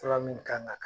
Fura min kan ka